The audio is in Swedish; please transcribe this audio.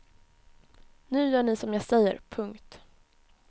Nu gör ni som jag säger. punkt